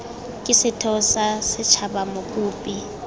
ke setheo sa setshaba mokopi